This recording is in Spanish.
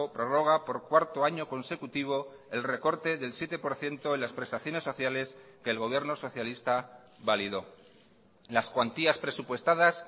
prorroga por cuarto año consecutivo el recorte del siete por ciento en las prestaciones socialesque el gobierno socialista validó las cuantías presupuestadas